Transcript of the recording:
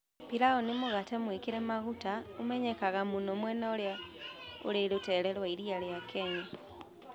Pilau nĩ mũgate mwĩkĩre maguta ũmenyekaga mũno mwena ũrĩa ũrĩ rũteere rwa iria rĩa Kenya.